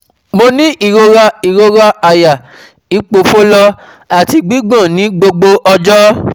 Mo ní ìrora ìrora àyà, ipofolo àti gbigbon ní gbogbo ọjọ́